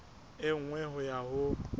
e nngwe ho ya ho